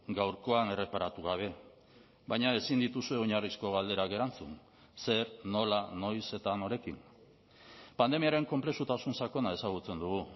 gaurkoan erreparatu gabe baina ezin dituzue oinarrizko galderak erantzun zer nola noiz eta norekin pandemiaren konplexutasun sakona ezagutzen dugu